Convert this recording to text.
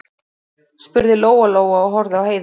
spurði Lóa-Lóa og horfði á Heiðu.